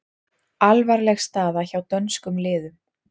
Alvarleg staða hjá dönskum liðum